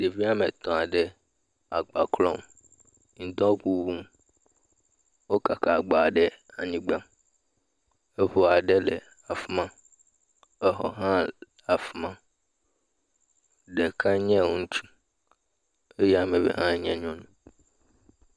Ɖevi woame etɔ̃ aɖe agba klɔm, ŋudɔ ŋuŋum, wo kaka agba ɖe anyigba, eŋu aɖe le afi ma, exɔ aɖe hã le afi ma, ame ɖeka nye ŋutsu eye ame eve nye nyɔnu wole agba klɔm.